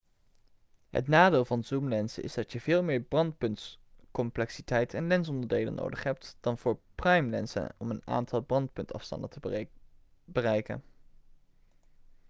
het nadeel van zoomlenzen is dat je veel meer brandpuntscomplexiteit en lensonderdelen nodig hebt dan voor primelenzen om een aantal brandpuntsafstanden te bereiken